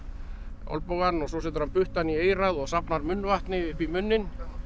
olnbogann svo setur hann puttann í eyrað og safnar munnvatni upp í munninn